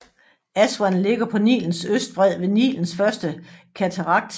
Aswan ligger på Nilens østbred ved Nilens Første Katarakt